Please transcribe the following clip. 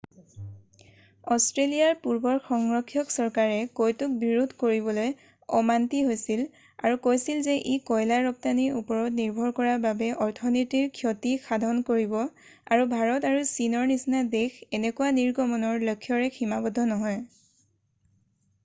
অষ্ট্ৰেলিয়াৰ পূৰ্বৰ সংৰক্ষক চৰকাৰে কয়তোক বিৰোধ কৰিবলৈ অমান্তি হৈছিল আৰু কৈছিল যে ই কয়লা ৰপ্তানীৰ ওপৰত নিৰ্ভৰ কৰা বাবে অৰ্থনীতিৰ ক্ষতি সাধন কৰিব আৰু ভাৰত আৰু চীনৰ নিচিনা দেশ এনেকুৱা নিৰ্গমণৰ লক্ষ্যৰে সীমাবদ্ধ নহয়